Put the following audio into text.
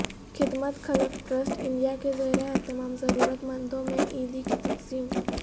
خدمت Khalq trust India کے زیر اہتمام ضرورت مندوں میں عیدی کی تقسیم